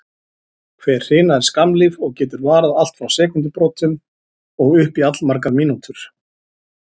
Hver hrina er skammlíf og getur varað allt frá sekúndubrotum og upp í allmargar mínútur.